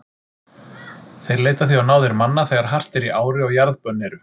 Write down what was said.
Þeir leita því á náðir manna þegar hart er í ári og jarðbönn eru.